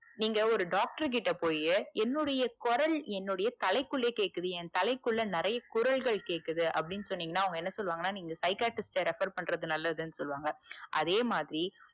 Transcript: நீங்க ஒரு doctor கிட்ட போரிங்க என்னுடைய குரல் என்னுடைய தலைக்குள்ளே கேக்குது என் தலைக்குள்ள நிறைய குரல்கள் கேக்குது அப்டின்னு சொன்னிங்கனா அவங்க என்ன சொல்லுவாங்கனா நீங்க psychiatrist ட்ட refer பண்றது நல்லதுன்னு சொல்லுவாங்க அதேமாதிரி